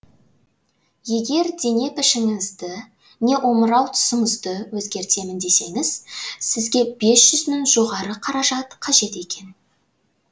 егер дене пішіңізді не омырау тұсыңызды өзгертемін десеңіз сізге бес жүз мың жоғары қаражат қажет екен